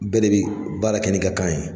Bɛɛ de bɛ baara kɛ n'i ka kan ye.